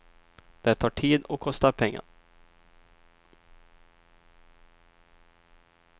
Det tar tid och kostar pengar.